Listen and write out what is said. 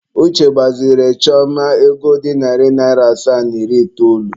Uche gbazinyere Chioma ego dị narị naịra asaa na iri itoolu.